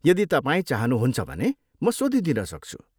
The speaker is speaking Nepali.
यदि तपाईँ चाहनुहुन्छ भने म सोधिदिन सक्छु।